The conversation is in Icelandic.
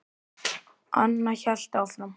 Anna hélt áfram.